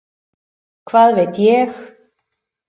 Hvað veit ég.